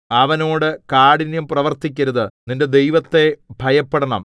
അവനോട് കാഠിന്യം പ്രവർത്തിക്കരുത് നിന്റെ ദൈവത്തെ ഭയപ്പെടണം